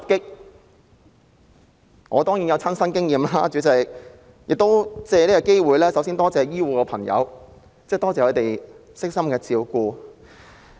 主席，我當然有親身經驗，亦想藉此機會感謝醫護朋友的悉心照顧。